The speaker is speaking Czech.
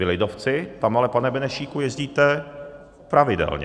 Vy lidovci tam ale, pane Benešíku, jezdíte pravidelně.